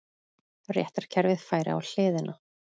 Réttarkerfið færi á hliðina